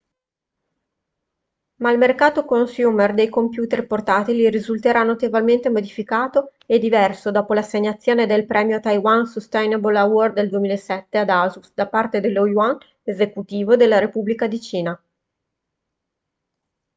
ma il mercato consumer dei computer portatili risulterà notevolmente modificato e diverso dopo l'assegnazione del premio taiwan sustainable award nel 2007 ad asus da parte dello yuan esecutivo della repubblica di cina